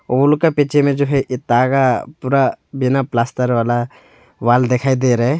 वो लोग के पीछे में जो है यह पूरा बिना प्लास्टर वाला वॉल दिखाई दे रहा है।